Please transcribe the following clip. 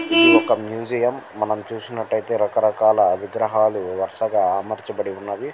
ఇది ఒక మ్యూజియం . మనం చూస్తున్నట్టయితే రకరకాల విగ్రహాలుఇది ఒక ముసుఎం మనం చూసినట్టు అయతె ఇక్కడ రక రకాల బొమ్మల్లు అమరచ బడి వున్నాయ్ వరసగా.> అమర్చబడి ఉన్నవి.